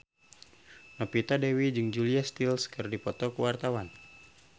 Novita Dewi jeung Julia Stiles keur dipoto ku wartawan